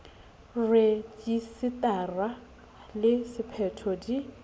rejise tara le sephetho di